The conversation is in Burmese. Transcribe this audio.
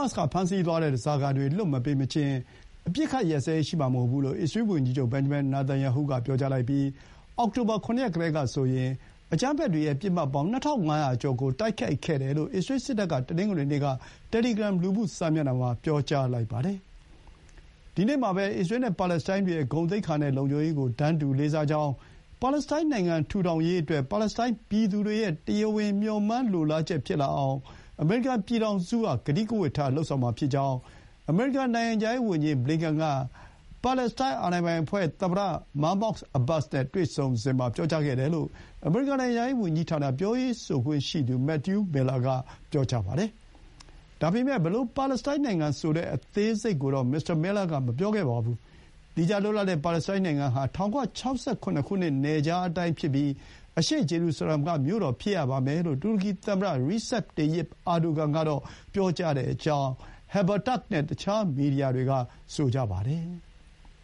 တ်စ်ကဖမ်းဆီးသွားတဲ့ ဓားစာခံတွေလွှတ်မပေးမချင်း အပစ်အခတ်ရပ်စဲရေး ရှိမှာမဟုတ်ဘူးလို့ အစ္စရေး ဝန်ကြီးချုပ် ဘင်န်ဂျမင် နာတန်ယာဟုက ပြောကြားလိုက်ပြီး အောက်တိုဘာ ၇ ရက်ကတည်းကဆိုရင် အကြမ်းဖက်တွေရဲ့ ပစ်မှတ်ပေါင်း ၂,၅၀၀ ကျော်ကို တိုက်ခိုက်ခဲ့တယ်လို့ အစ္စရေးစစ်တပ်က တနင်္ဂနွေနေ့က တယ်လီဂရမ် လူမှု စာမျက်နှာမှာ ပြောကြားလိုက်ပါတယ်။ ဒီနေ့မှာပဲ အစ္စရေးနဲ့ပါလက်စတိုင်းတွေရဲ့ ဂုဏ်သိက္ခာနဲ့လုံခြုံရေးကို တန်းတူလေးစားကြောင်း၊ ပါလက်စတိုင်းနိုင်ငံထူထောင်ရေးအတွက် ပါလက်စတိုင်းပြည်သူတွေရဲ့ တရားဝင် မျှော်မှန်းလိုလားချက်ဖြစ်လာအောင် အမေရိကန် ပြည်ထောင်စုက ကတိကဝတ်ထားလုပ်ဆောင်မှာဖြစ်ကြောင်း အမေရိကန်နိုင်ငံခြားရေးဝန်ကြီး ဘလင်ကန်က ပါလက်စတိုင်းသမ္မတ မားမောက် အဘာ့စ် နဲ့တွေ့ဆုံစဥ် ပြောကြားခဲ့တယ်လို့ အမေရိကန် နိုင်ငံခြားရေး ဝန်ကြီးဌာန ပြောရေးဆိုခွင့်ရှိသူ မက်သယူးမီလ်လာ က ပြောပါတယ်။ ဒါပေမဲ့ အဲဒီလို ပါလက်စတိုင်း နိုင်ငံအကြောင်း အသေးစိတ်ကိုတော့ မစ္စတာ မီလ်လာ က အသေးစိတ်မပြောပါဘူး။ သီးခြားလွတ်လပ်တဲ့ ပါလက်စတိုင်းနိုင်ငံဟာ ၁၉၆၇ နယ်ခြားအတိုင်းဖြစ်ပြီး အရှေ့ဂျေရူဆလမ်က မြို့တော်ဖြစ်ရပါမယ်လို့ တူရကီသမ္မတ ရီဆက်ပ် တေယစ် အာဒိုဂန် (Recep Tayyip Erdogan) က ပြောကြောင်း Haberturk နဲ့ တခြား မီဒီယာတွေက ဆိုကြပါတယ်။